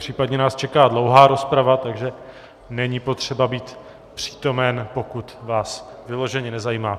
Případně nás čeká dlouhá rozprava, takže není potřeba být přítomen, pokud vás vyloženě nezajímá.